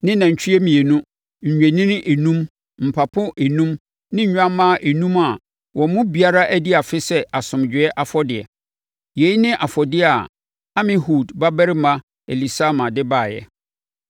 ne nantwie mmienu, nnwennini enum, mpapo enum ne nnwammaa enum a wɔn mu biara adi afe sɛ asomdwoeɛ afɔdeɛ. Yei ne afɔdeɛ a Amihud babarima Elisama de baeɛ.